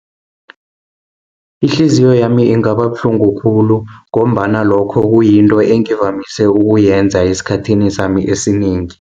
Ihliziyo yami ingaba buhlungu khulu, ngombana lokho kuyinto engivamise ukuyenza esikhathini sami esinengi.